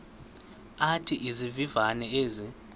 athi izivivane ezi